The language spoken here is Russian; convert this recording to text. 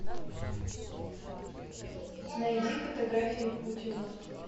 найди фотографии путина